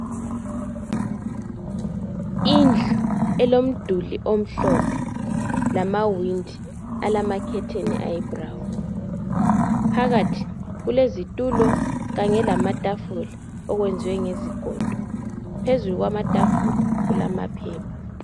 indlu elomduli omhlophe lamawindi alamakhetheni ayi brown phakathi kulezitulo kanye lamatafula okwenziwe ngezigodo phezulu kwamatafula kulamaphepha